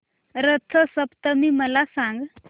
रथ सप्तमी मला सांग